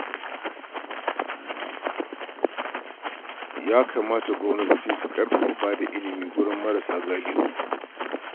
Ya kamata gwamnatoci su ƙarfafa ba da ilimi ga marasa galihu